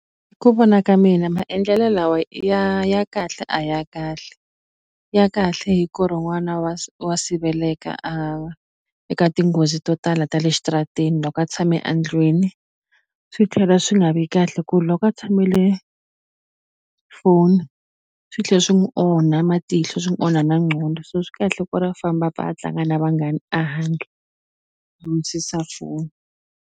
Hi ku vona ka mina maendlelo lawa ya ya kahle a ya kahle ya kahle hi ku ri n'wana wa siveleka a eka tinghozi to tala ta le xitarateni loko a tshame a ndlwini swi tlhela swi nga vi kahle ku loko a tshamele foni swi tlhe swi n'wi onha matihlo swi n'wi onha na ngqondo se swi kahle ku ri a famba a pfa a tlanga na vanghani a handle a wisisa foni.